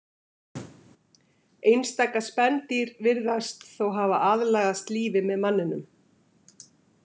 Einstaka spendýr virðast þó hafa aðlagast lífi með manninum.